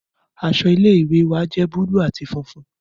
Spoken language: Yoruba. Aṣọ ile-iwe wa jẹ buluu ati funfun